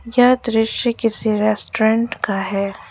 यह दृश्य किसी रेस्टोरेंट का है।